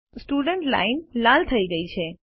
student line લાલ થઇ ગયી છે